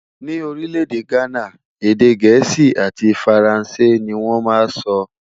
Ní orí lédè ghánà, èdè gèésì àti faransé ní wón má sọ.